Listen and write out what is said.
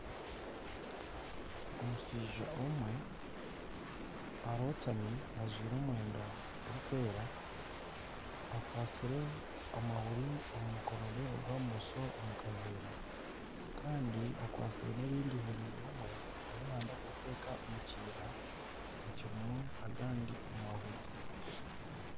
Omushaija omwe arotami ajwaire omwenda gurikweera akwatsire amahuri omu mukono gwe ogwa bumosho omukaveera Kandi akwatsire nana erindi eihuri rimwe ariyo nayenda kuriteeka omu kiina ekirimu agandi mahuri.